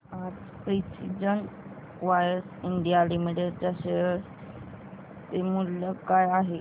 आज precision wires India limited share शेअर चे मूल्य काय आहे